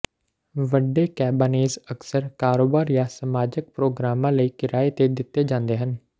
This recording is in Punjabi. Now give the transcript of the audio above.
ਵੱਡੇ ਕੈਬਾਨੇਜ਼ ਅਕਸਰ ਕਾਰੋਬਾਰ ਜਾਂ ਸਮਾਜਕ ਪ੍ਰੋਗਰਾਮਾਂ ਲਈ ਕਿਰਾਏ ਤੇ ਦਿੱਤੇ ਜਾਂਦੇ ਹਨ